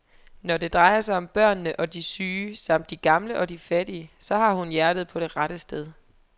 Når det drejer sig om børnene og de syge samt de gamle og de fattige, så har hun hjertet på det rette sted.